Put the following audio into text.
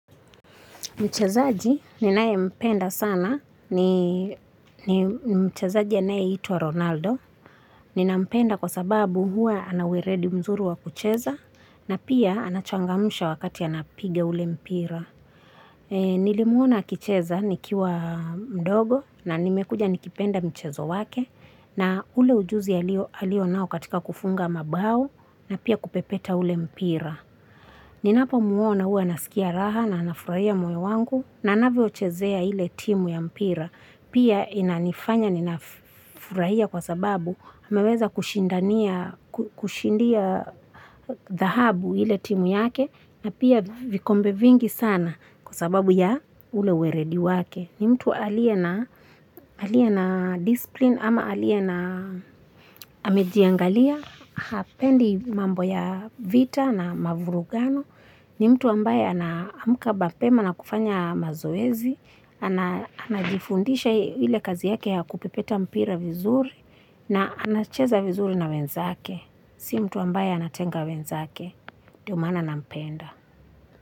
Mchezaji ninaye mpenda sana ni ni mchezaji anayeitwa Ronaldo. Nina mpenda kwa sababu hua anaweredi mzuru wa kucheza na pia anachangamsha wakati anapiga ule mpira. Nilimuona akicheza nikiwa mdogo na nimekuja nikipenda mchezo wake na ule ujuzi alio nao katika kufunga mabao na pia kupepeta ule mpira. Ninapo muona uwa nasikia raha na nafurahia moyo wangu na anavyo chezea hile timu ya mpira. Pia inanifanya ninafurahia kwa sababu ameweza kushindia dhahabu ile timu yake na pia vikombe vingi sana kwa sababu ya ule uweredi wake. Ni mtu alie na disipline ama alie na amejiangalia, hapendi mambo ya vita na mavurugano. Ni mtu ambaye anaamuka bapema na kufanya mazoezi, anajifundisha ile kazi yake ya kupepeta mpira vizuri na anacheza vizuri na wenzake. Si mtu ambaye anatenga wenzake, ndio maana nampenda.